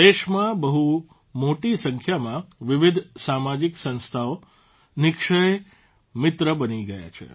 દેશમાં બહુ મોટી સંખ્યામાં વિવિધ સામાજીક સંસ્થાઓ નિઃક્ષય મિત્ર બની છે